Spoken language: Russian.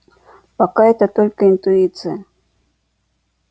пока это только интуиция